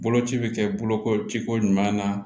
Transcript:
Boloci bɛ kɛ bolokojiko ɲuman na